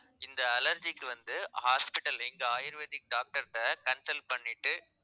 இந்த allergy க்கு வந்து hospital எங்க ayurvedic doctor கிட்ட consult பண்ணிட்டு